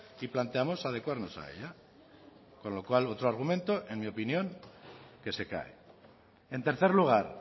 y planteamos adecuarnos a ella con lo cual otro argumento en mi opinión que se cae en tercer lugar